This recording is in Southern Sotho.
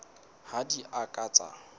ha di a ka tsa